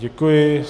Děkuji.